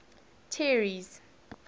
terry's